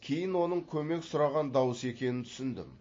кейін оның көмек сұраған дауыс екенін түсіндім